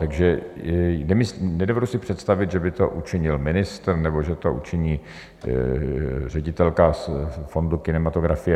Takže nedovedu si představit, že by to učinil ministr nebo že to učiní ředitelka fondu kinematografie.